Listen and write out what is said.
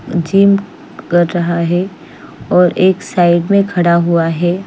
Gym कर रहा है और एक साइड में खड़ा हुआ है।